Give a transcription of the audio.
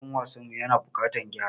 Ruwan wasan mu ya na da buƙatan gyara.